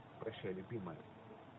прощай любимая